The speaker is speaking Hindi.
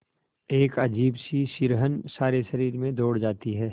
एक अजीब सी सिहरन सारे शरीर में दौड़ जाती है